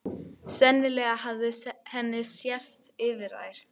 Sennilega hafði henni sést yfir þær.